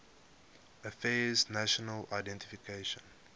affairs national identification